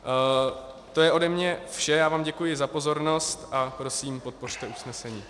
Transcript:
To je ode mě vše, já vám děkuji za pozornost a prosím, podpořte usnesení.